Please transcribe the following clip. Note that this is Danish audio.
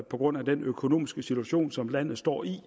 på grund af den økonomiske situation som landet står i